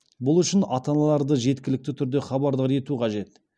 бұл үшін ата аналарды жеткілікті түрде хабардар ету қажет